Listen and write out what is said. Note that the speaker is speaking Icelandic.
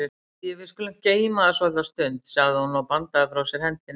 Æi, við skulum geyma það svolitla stund, sagði hún og bandaði frá sér hendinni.